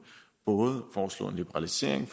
både foreslår en liberalisering